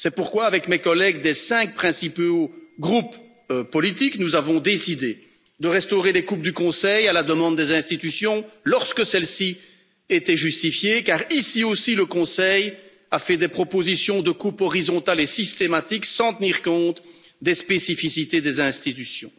C'est pourquoi, avec mes collègues des 5 principaux groupes politiques, nous avons décidé de restaurer les coupes du Conseil, à la demande des institutions, lorsque celles ci étaient justifiées car ici aussi, le Conseil a fait des propositions de coupes horizontales et systématiques, sans tenir compte des spécificités des institutions.